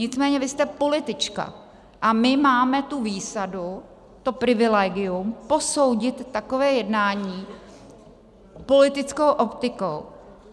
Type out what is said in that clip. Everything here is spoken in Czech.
Nicméně vy jste politička a my máme tu výsadu, to privilegium, posoudit takové jednání politickou optikou.